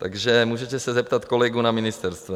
Takže můžete se zeptat kolegů na ministerstvu.